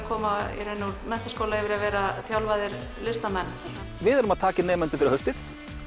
koma í raun úr menntaskóla yfir í að vera þjálfaðir listamenn við erum að taka inn nemendur fyrir haustið